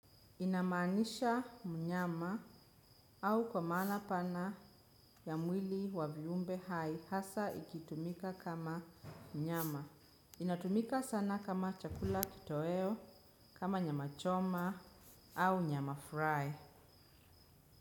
Inamaanisha mnyama au kwa maana pana ya mwili wa viumbe hai hasa ikitumika kama mnyama. Inatumika sana kama chakula kitoweo, kama nyama choma au nyama fry.